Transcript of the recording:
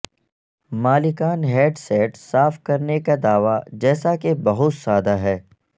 مالکان ہیڈسیٹ صاف کرنے کا دعوی جیسا کہ بہت سادہ ہے